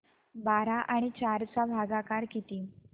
बारा आणि चार चा भागाकर किती